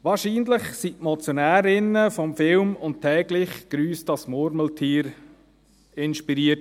Wahrscheinlich wurden die Motionärinnen vom Film «Und täglich grüsst das Murmeltier» inspiriert.